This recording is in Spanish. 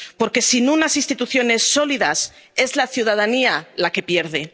Porque, sin unas instituciones sólidas, es la ciudadanía la que pierde.